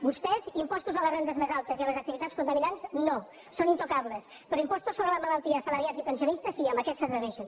vostès impostos a les rendes més altes i a les activitats contaminants no són intocables però impostos sobre la malaltia a assalariats i pensionistes sí amb aquests s’hi atreveixen